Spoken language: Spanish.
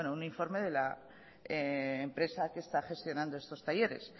un informe de la empresa que está gestionando estos talleres